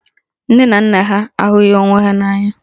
Nne na nna ha ahụghị onwe ha n'anya